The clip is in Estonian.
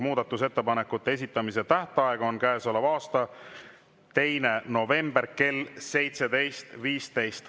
Muudatusettepanekute esitamise tähtaeg on käesoleva aasta 2. november kell 17.15.